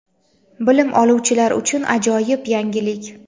Bilim oluvchilar uchun ajoyib yangilik!.